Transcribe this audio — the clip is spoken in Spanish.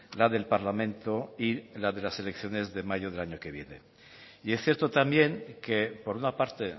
la del parlamento y la de las elecciones de mayo del año que viene y es cierto también que por una parte